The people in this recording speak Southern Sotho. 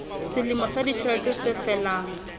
selemo sa ditjhelete se felang